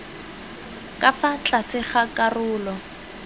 ka fa tlase ga karolo